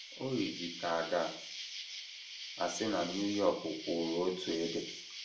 O yiri ka a ga - asị na New York kwụụrụ otu ebe.